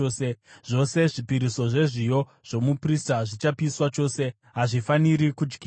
Zvose zvipiriso zvezviyo zvomuprista zvichapiswa chose, hazvifaniri kudyiwa.”